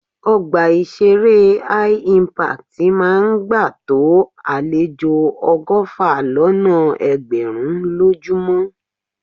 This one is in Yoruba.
Ọgbà ìṣeré Hi-Impact máa ń gbà tó àlejò ọgọ́fà lọ́nà ẹgbẹ̀rún lójúmọ́.